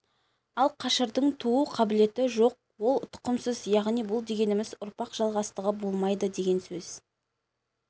ал қашырдың туу қабілеті жоқ ол тұқымсыз яғни бұл дегеніміз ұрпақ жалғастығы болмайды деген сөз